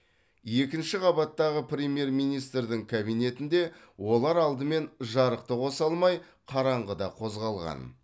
екінші қабаттағы премьер министрдің кабинетінде олар алдымен жарықты қоса алмай қараңғыда қозғалған